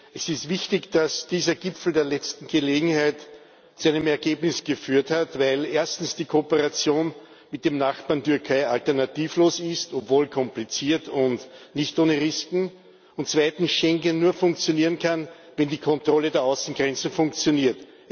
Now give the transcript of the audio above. Es ist wichtig, dass dieser Gipfel der letzten Gelegenheit zu einem Ergebnis geführt hat, weil erstens die Kooperation mit dem Nachbarn Türkei alternativlos ist obwohl kompliziert und nicht ohne Risiken und zweitens Schengen nur funktionieren kann, wenn die Kontrolle der Außengrenzen funktioniert.